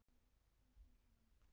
Viðræður á fulla ferð